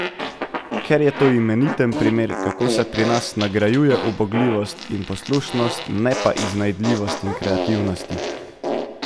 Ker je to imeniten primer, kako se pri nas nagrajuje ubogljivost in poslušnost, ne pa iznajdljivosti in kreativnosti.